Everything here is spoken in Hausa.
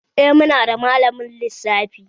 Eh, muna da malamin lissafi